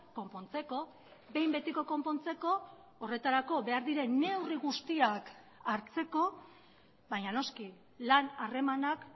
konpontzeko behin betiko konpontzeko horretarako behar diren neurri guztiak hartzeko baina noski lan harremanak